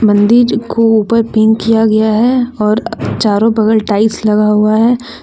मंदिज को ऊपर पिंक किया गया है और चारो बगल टाइल्स लगा हुआ है।